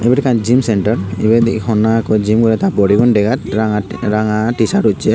iben oley ekkan gym centre ebet honna ekko gym degar ranga ranga tisart ussey.